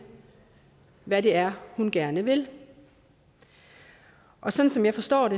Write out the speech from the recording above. hvad det er hun gerne vil og sådan som jeg forstår